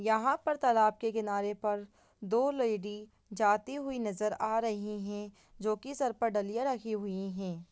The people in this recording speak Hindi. यहाँ पर तालाब के किनारे पर दो लैडी जाती हुई नजर आ रही है जो की सर पर डलिया रखे हुए है।